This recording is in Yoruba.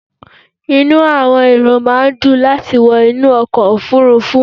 Inú àwọn èrò máà ń dùn láti wọ inú ọkọ̀ òfurufú